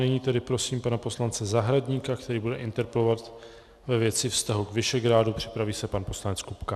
Nyní tedy prosím pana poslance Zahradníka, který bude interpelovat ve věci vztahu k Visegrádu, připraví se pan poslanec Kupka.